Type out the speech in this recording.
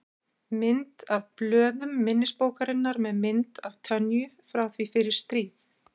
Mynd af blöðum minnisbókarinnar með mynd af Tönyu frá því fyrir stríð.